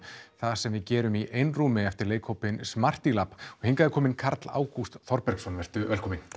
það sem við gerum í einrúmi eftir leikhópinn Smarty lab og hingað er kominn Karl Ágúst Þorbergsson vertu velkominn